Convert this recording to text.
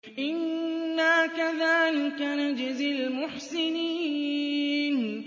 إِنَّا كَذَٰلِكَ نَجْزِي الْمُحْسِنِينَ